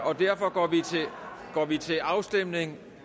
og derfor går vi til afstemning